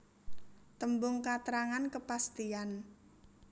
Tembung katrangan kepastian